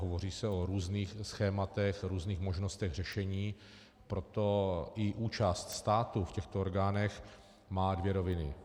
Hovoří se o různých schématech, různých možnostech řešení, proto i účast státu v těchto orgánech má dvě roviny.